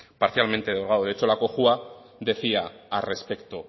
parcialmente derogado de hecho la cojua decía al respecto